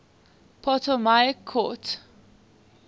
ptolemaic court